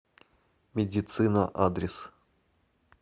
медицина адрес